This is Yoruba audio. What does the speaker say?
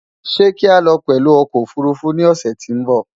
Sé kii alo pęlú okò òfurufú ni òsę tín bò?